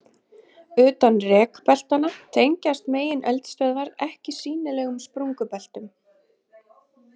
Utan rekbeltanna tengjast megineldstöðvar ekki sýnilegum sprungubeltum.